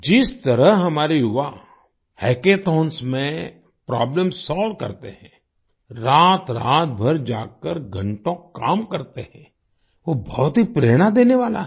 जिस तरह हमारे युवा हैकॉथॉंन्स में प्रोब्लेम सोल्व करते हैं रातरात भर जागकर घंटों काम करते हैं वो बहुत ही प्रेरणा देने वाला है